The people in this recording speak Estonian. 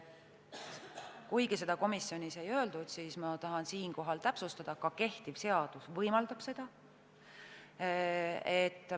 Kuigi seda komisjonis ei öeldud, tahan ma siinkohal täpsustada, et ka kehtiv seadus võimaldab seda.